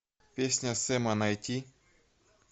песня сэма найти